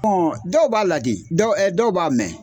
Ɔn dɔw b'a ladi dɔw dɔw b'a mɛn